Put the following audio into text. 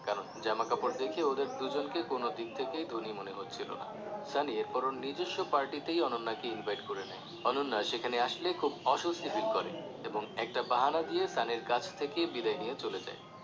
কারণ জামা কাপড় দেখে ওদের দুজনকে কোনদিক থেকেই ধনী মনে হচ্ছিলো না সানি এরপর ওর নিজস্ব party তেই অনন্যা কে invite করে নেয় অনন্যা সেখানে আসলে খুব অস্বস্তি feel করে এবং একটা বাহানা দিয়ে সানির কাছ থেকে বিদায় নিয়ে চলে যায়